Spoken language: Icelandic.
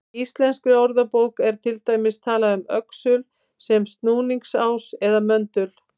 Í Íslenskri orðabók er til dæmis talað um öxul sem snúningsás eða möndul.